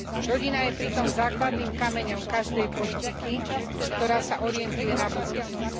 Rodina je pritom základným kameňom každej politiky, ktorá sa orientuje na budúcnosť.